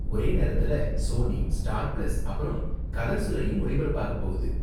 ஒரே நேரத்துல Sony, Star Plus, அப்பறம் கலர்ஸ்லயும் ஒளிபரப்பாக போகுது.